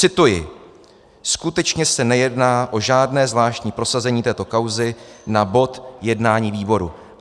Cituji: "Skutečně se nejedná o žádné zvláštní prosazení této kauzy na bod jednání výboru."